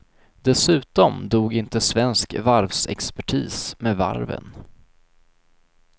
Dessutom dog inte svensk varvsexpertis med varven.